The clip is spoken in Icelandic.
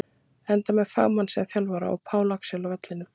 Enda með fagmann sem þjálfara og Pál Axel á vellinum!